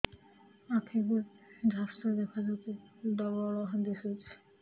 ଆଖି କୁ ଝାପ୍ସା ଦେଖାଯାଉଛି ଡବଳ ଦିଶୁଚି